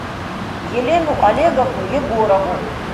елену олеговну егорову